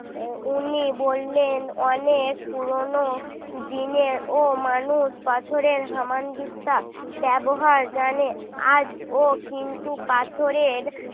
উনি বললেন অনেক পুরনো দিনের ও মানুষ পাথরের হামানদিস্তা ব্যবহার জানে আজও কিন্তু পাথরের